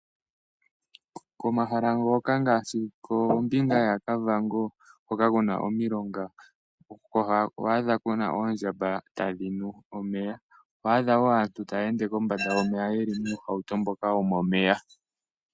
Komahala ngoka ngaashi kombinga yaKavango hoka ku na omilonga oho adha ku na oondjamba tadhi nu omeya . Oho adha woo aantu taya ende kombanda yomeya ye li muuhauto mboka wo momeya.